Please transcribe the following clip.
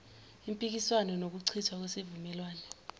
impikiswano nokuchithwa kwesivumelwane